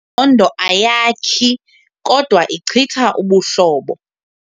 ndo ayakhi kodwa ichitha ubuhlobo.